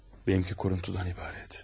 Mənimki kuruntudan ibarət.